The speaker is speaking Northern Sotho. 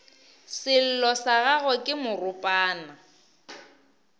sello sa gagwe ke moropana